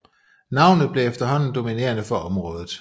Navnet blev efterhånden dominerende for området